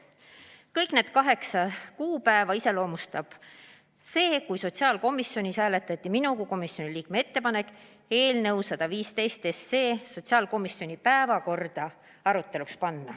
Kõigil nendel kaheksal kuupäeval hääletati sotsiaalkomisjonis maha minu kui komisjoni liikme ettepanek eelnõu 115 sotsiaalkomisjoni istungi päevakorda panna.